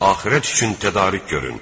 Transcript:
Axirət üçün tədarük görün.